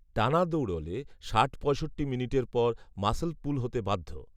টানা দৌড়লে ষাট পঁয়ষট্টি মিনিটের পর মাসল পুল হতে বাধ্য